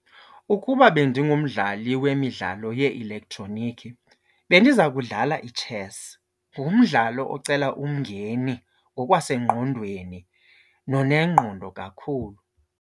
Ukuba bendingumdlali wemidlalo yee-elektroniki bendiza kudlala itshesi. Ngumdlalo ocela umngeni ngokwasengqondweni nonengqondo kakhulu.